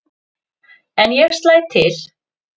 En ég slæ til.